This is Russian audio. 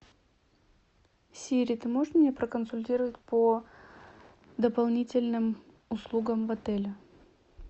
сири ты можешь меня проконсультировать по дополнительным услугам в отеле